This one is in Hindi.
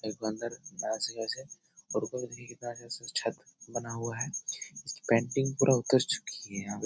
एक बंदर ऐसे जैसे छत बना हुआ है जिसकी पेंटिंग पूरा उतर चुकी है यहाँ --